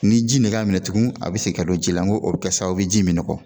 Ni ji nɛgɛ y'a minɛ tugun a bɛ se ka don ji la n ko a bɛ kɛ sababu ye ji in me nɔgɔ.